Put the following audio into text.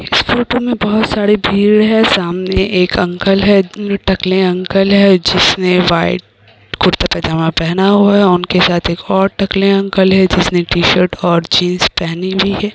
इस फोटो मे बहोत सारे भीड़ है सामने एक अंकल है टकले अंकल है जिसने वाइट कुर्ता पाजामा पहना हुआ है उनके साथ एक और टकले अंकल है जिसने टी-शर्ट और जीन्स पहनी हुई है।